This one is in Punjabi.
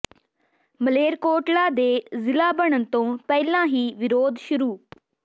ਮਲੇਰਕੋਟਲਾ ਦੇ ਜ਼ਿਲ੍ਹਾ ਬਣਨ ਤੋਂ ਪਹਿਲਾਂ ਹੀ ਵਿਰੋਧ ਸ਼ੁਰੂ